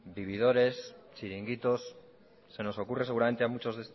vividores chiringuitos se nos ocurre seguramente a muchos